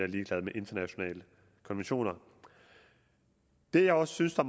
ligeglade med internationale konventioner jeg jeg synes det